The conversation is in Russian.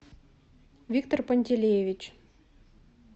виктор пантелеевич